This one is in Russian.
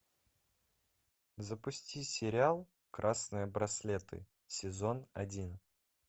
запусти сериал красные браслеты сезон один